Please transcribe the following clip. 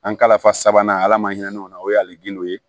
An ka ala fa ye ala ma hinɛ ɲɔgɔn na o ye ali gindo ye